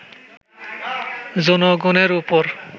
জনগণের ওপর